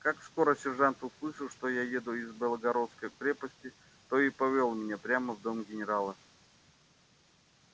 как скоро сержант услышал что я еду из белогородской крепости то и повёл меня прямо в дом генерала